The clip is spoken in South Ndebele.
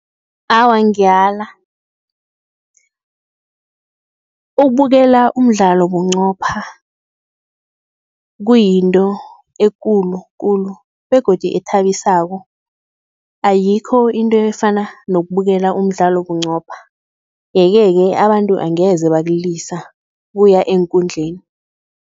Awa, ngiyala, ukubukela umdlalo bunqopha kuyinto ekulu kulu begodu ethabisako, ayikho into efana nokubukela umdlalo bunqopha yeke-ke, abantu angeze bakulisa ukuya eenkundleni.